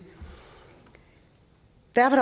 derfor